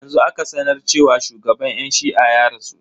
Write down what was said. Yanzu aka sanar cewa shugaban yan shi'a ya rasu.